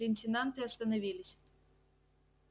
лейтенанты остановились